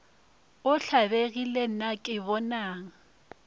o tlabegile na ke bonang